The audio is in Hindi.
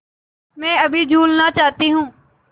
मैं अभी झूलना चाहती हूँ